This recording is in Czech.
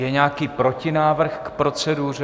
Je nějaký protinávrh k proceduře?